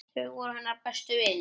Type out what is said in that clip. Þau voru hennar bestu vinir.